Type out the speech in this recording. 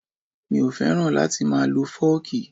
Mi ò fẹ́ràn láti máa lọ fọ́ọ̀kì